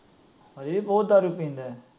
ਹਜੇ ਵੀ ਬਹੁਤ ਦਾਰੂ ਪੀਂਦਾ।